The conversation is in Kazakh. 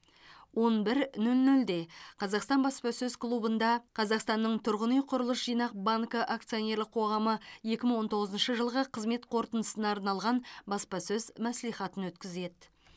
он бір нөл нөлде қазақстан баспасөз клубында қазақстанның тұрғын үй құрылыс жинақ банкі акционерлік қоғамы екі мың он тоғызыншы жылғы қызмет қорытындысына арналған баспасөз мәслихатын өткізеді